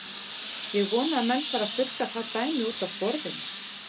Ég vona að menn fari að þurrka það dæmi útaf borðinu.